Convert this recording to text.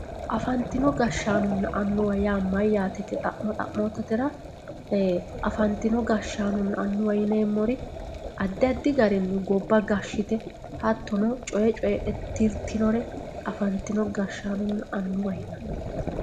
afantino gashshaanonna annuwa yaa mayaate yite xa'mo xa'mootatera afantino gashshaanonna annuwa yineemori addi addi garinni gobba gashshite hattono coye coyeexe tirtinore afantino gashshaanonna annuwa yinanni.